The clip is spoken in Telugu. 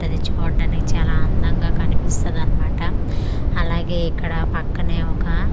రిచ్ హార్డ్ అనే చాలా అందంగా కనిపిస్తది అన్నమాట అలాగే ఇక్కడ పక్కనే ఒక--